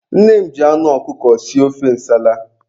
Nne m ji anụ ọkụkọ sie ofe nsala.